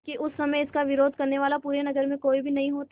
क्योंकि उस समय इसका विरोध करने वाला पूरे नगर में कोई भी नहीं होता